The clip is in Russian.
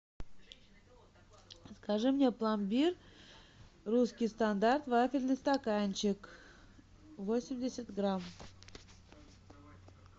закажи мне пломбир русский стандарт вафельный стаканчик восемьдесят грамм